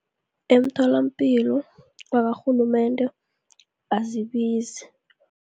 Emtholapilo, yakarhulumende ayibizi.